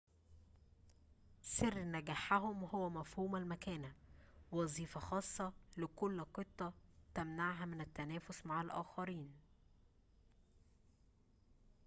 سر نجاحهم هو مفهوم المكانة وظيفة خاصة لكل قطة تمنعها من التنافس مع الآخرين